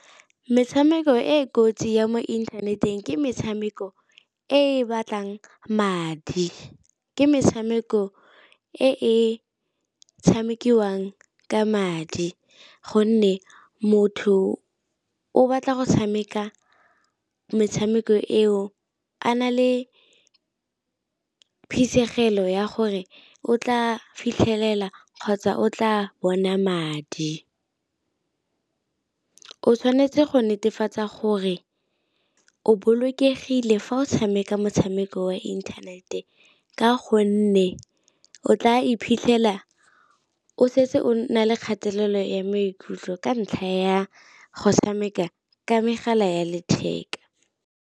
Metshameko e kotsi ya mo inthaneteng ke metshameko e batlang madi, ke metshameko e e tshamekiwang ka madi gonne motho o batla go tshameka metshameko eo a na le phisegelo ya gore o tla fitlhelela kgotsa o tla bona madi. O tshwanetse go netefatsa gore o bolokegile fa o tshameka motshameko wa internet-e ka gonne o tla iphitlhela o setse o na le kgatelelo ya maikutlo ka ntlha ya go tshameka ka megala ya letheka.